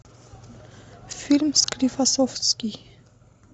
фильм склифосовский